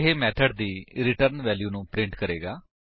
ਇਹ ਮੇਥਡ ਦੀ return value ਨੂੰ ਪ੍ਰਿੰਟ ਕਰੇਗਾ